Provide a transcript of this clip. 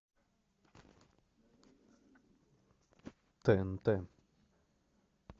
тнт